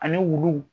Ani wulu